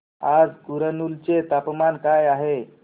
आज कुरनूल चे तापमान काय आहे